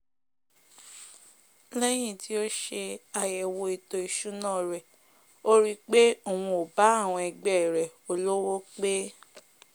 lẹ́yìn tí ó se àyẹ̀wò ètò ìsúná rẹ̀ ó ri pé òun ò bá àwọn ẹgbẹ́ rẹ̀ olówó pé